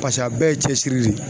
Paseke a bɛɛ ye cɛsiri de ye.